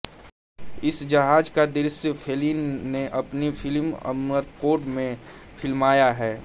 इस जहाज का दृश्य फेलिनी ने अपनी फिल्म अमरकोर्ड में फिल्माया है